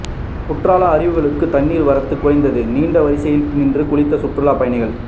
குற்றாலம் அருவிகளுக்கு தண்ணீர் வரத்து குறைந்தது நீண்ட வரிசையில் நின்று குளித்த சுற்றுலா பயணிகள்